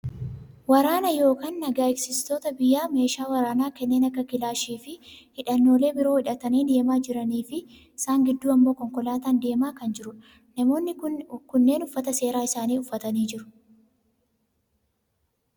Waraana yookaa naga eegsistoota biyyaa meeshaa waraanaa kanneen akka kilaashii fi hidhannoolee biroo hidhatanii deemaa jiraniifi isaan Gidduun ammoo konkolaataan deemaa kan jirudha. Namoonni kunneen uffata seeraa isaanii uffataniit jiru.